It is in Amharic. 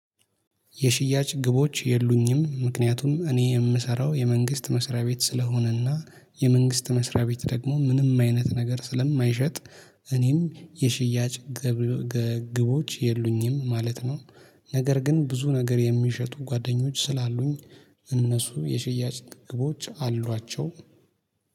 የሽያጭ ግቦች የሉኝም ምክንያቱም እኔ የምሰራው የመንግስት መስሪያ ቤት ስለሆነና የመንግስት መስሪያ ቤት ደግሞ ምንም አይነት ነገር ስለማይሸጥ እኔም የሽያጭ ግብ ግቦች የሉኝም ማለት ነው። ነገር ግን ብዙ ነገር የሚሸጡ ጓደኞች ስላሉኝ እነሱ የሽያጭ ግቦች አሏቸው።